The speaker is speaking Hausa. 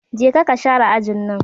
Je ka ka share ajin nan!